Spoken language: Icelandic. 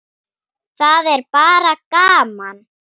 Það er bara gaman.